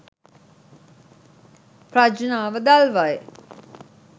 ප්‍රඥාව දල්වයි